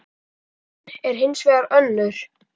Raunin er hins vegar önnur.